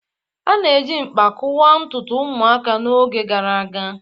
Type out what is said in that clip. A na-eji mkpa kụwaa ntutu ụmụaka n'oge gara aga